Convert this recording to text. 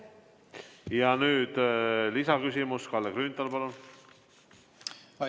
Ja nüüd lisaküsimus, Kalle Grünthal, palun!